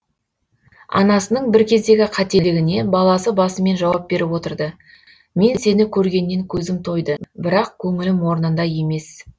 анасының бір кездегі қателігіне баласы басымен жауап беріп отырды мен сені көргеннен көзім тойды бірақ көңілім орнында емес